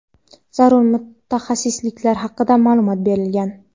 zarur mutaxassisliklar haqida ma’lumot berilgan.